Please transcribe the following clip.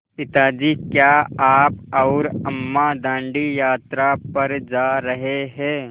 पिता जी क्या आप और अम्मा दाँडी यात्रा पर जा रहे हैं